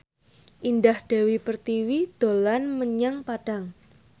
Indah Dewi Pertiwi dolan menyang Padang